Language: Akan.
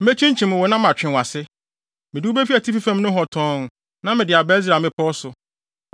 Mekyinkyim wo na matwe wʼase. Mede wo befi atifi fam nohɔ tɔnn na mede aba Israel mmepɔw so.